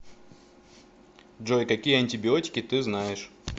джой какие антибиотики ты знаешь